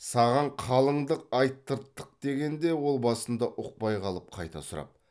саған қалыңдық айтырттық дегенде ол басында ұқпай қалып қайта сұрап